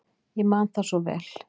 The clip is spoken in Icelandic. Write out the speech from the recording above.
Ég man það svo vel.